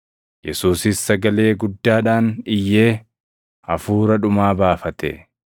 Yesuusis sagalee guddaadhaan iyyee hafuura dhumaa baafate.